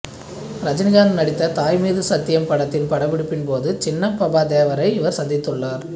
ரஜினிகாந் நடித்த தாய் மீது சத்தியம் படத்தின் படப்பிடிப்பின் போது சின்னனப்பபா தேவரை இவர் சந்தித்துள்ளார்